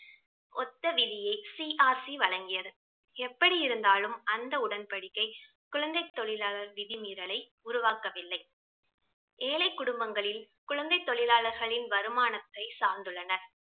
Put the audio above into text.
ஒத்த விதியை CRC வழங்கியது எப்படி இருந்தாலும் அந்த உடன்படிக்கை குழந்தை தொழிலாளர் விதிமீரலை உருவாக்கவில்லை. ஏழை குடும்பங்களில் குழந்தை தொழிலாளர்களின் வருமானத்தை சார்ந்துள்ளனர்